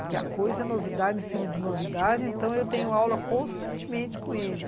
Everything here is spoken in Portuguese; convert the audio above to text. Porque a coisa é novidade em cima de novidade, então eu tenho aula constantemente com ele.